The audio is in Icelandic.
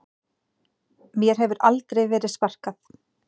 Mér hefur aldrei verið sparkað